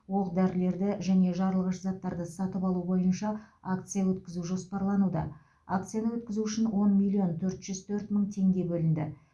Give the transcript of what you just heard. оқ дәрілерді және жарылғыш заттарды сатып алу бойынша акция өткізу жоспарлануда акцияны өткізу үшін он миллион төрт жүз төрт мың теңге бөлінді